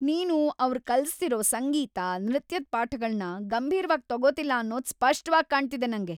ನೀನು ಅವ್ರ್ ಕಲಿಸ್ತಿರೋ ಸಂಗೀತ, ನೃತ್ಯದ್ ಪಾಠಗಳ್ನ ಗಂಭೀರ್ವಾಗ್ ತಗೊತಿಲ್ಲ ಅನ್ನೋದು ಸ್ಪಷ್ಟವಾಗ್ ಕಾಣ್ತಿದೆ ನಂಗೆ.